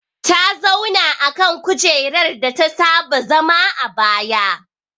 Ta zauna akan kujerar data saba zama a baya